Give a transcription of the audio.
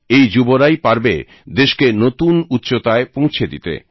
এই যুবরাই পারবে দেশকে নতুন উচ্চতায় পৌঁছে দিতে